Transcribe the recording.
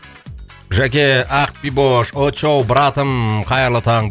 жәке ақбибош очоу братым қайырлы таң